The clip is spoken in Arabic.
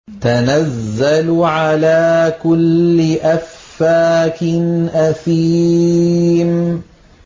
تَنَزَّلُ عَلَىٰ كُلِّ أَفَّاكٍ أَثِيمٍ